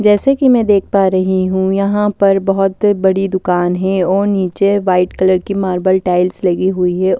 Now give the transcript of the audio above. जैसे कि मैं देख पा रही हूं यहां पर बहुत बड़ी दुकान हैऔर नीचे वाइट कलर की मार्बल टाइल्स लगी हुई है।